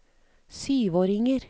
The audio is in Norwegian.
syvåringer